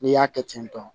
N'i y'a kɛ ten tɔ